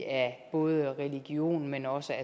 af både religion men også